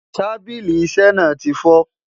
tábìlì iṣé na tifo